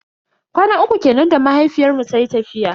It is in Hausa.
Kwana uku kenan da mahaifiyar mu tayi tafiya.